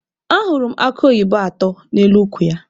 Ahụrụ m akụ oyibo atọ n'elu ukwu ya.